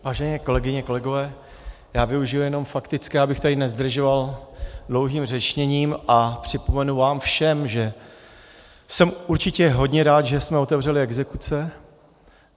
Vážené kolegyně, kolegové, já využiji jenom faktické, abych tady nezdržoval dlouhým řečněním, a připomenu vám všem, že jsem určitě hodně rád, že jsme otevřeli exekuce.